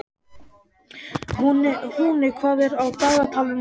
Húni, hvað er á dagatalinu í dag?